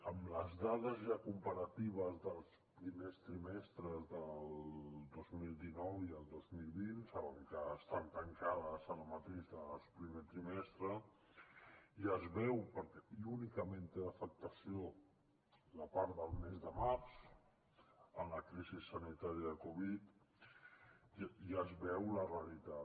amb les dades ja comparatives dels primers trimestres del dos mil dinou i el dos mil vint saben que estan tancades ara mateix les del primer trimestre ja es veu i únicament té afectació la part del mes de març en la crisi sanitària de covid ja es veu la realitat